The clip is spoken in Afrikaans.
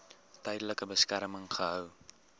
tydelike beskerming gehou